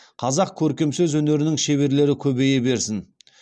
қазақ көркем сөз өнерінің шеберлері көбейе берсін